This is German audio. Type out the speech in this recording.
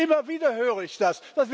Immer wieder höre ich das.